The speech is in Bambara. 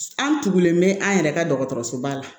An tugulen bɛ an yɛrɛ ka dɔgɔtɔrɔsoba la